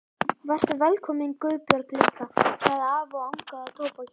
Vertu velkomin Guðbjörg litla, sagði afi og angaði af tóbaki.